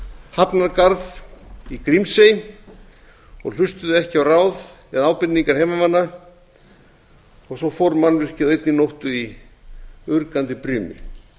hafnargarð í grímsey og hlustuðu ekki á ráð eða ábendingar heimamanna og svo fór mannvirkið á einni nóttu í urgandi brimi